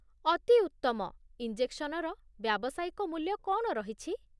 ଅତି ଉତ୍ତମ। ଇଞ୍ଜେକ୍ସନର ବ୍ୟାବସାୟିକ ମୂଲ୍ୟ କ'ଣ ରହିଛି?